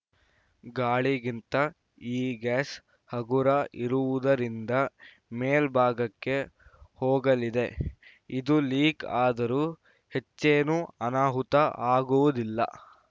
ಗಾಳಿಗಿಂತ ಈ ಗ್ಯಾಸ್‌ ಹಗುರ ಇರುವುದರಿಂದ ಮೇಲ್ಭಾಗಕ್ಕೆ ಹೋಗಲಿದೆ ಇದು ಲೀಕ್‌ ಆದರೂ ಹೆಚ್ಚೇನು ಅನಾಹುತ ಆಗುವುದಿಲ್ಲ